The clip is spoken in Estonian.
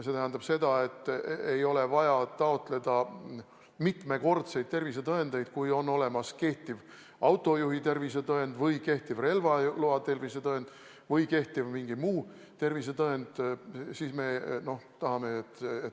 See tähendab seda, et ei ole vaja taotleda mitut tervisetõendit, piisab sellest, kui on olemas kehtiv autojuhi tervisetõend või relvaloa tervisetõend või mingi muu tervisetõend.